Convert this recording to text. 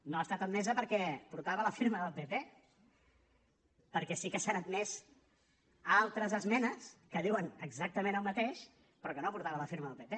no ha estat admesa perquè portava la firma del pp perquè sí que s’han admès altres esmenes que diuen exactament el mateix però que no portaven la firma del pp